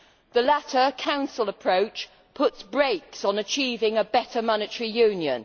The latter Council approach puts brakes on achieving a better monetary union.